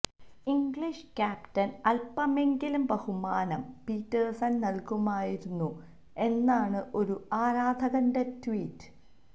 English ക്യാപ്റ്റന് അല്പമെങ്കിലും ബഹുമാനം പീറ്റേഴ്സണ് നല്കാമായിരുന്നു എന്നാണ് ഒരു ആരാധകന്റെ ട്വീറ്റ്